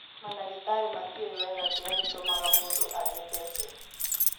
Mandagĩtarĩ matiũĩ wega kĩrĩa gĩtũmaga mũndũ agĩe Behcet's.